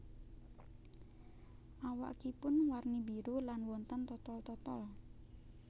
Awakipun warni biru lan wonten totol totol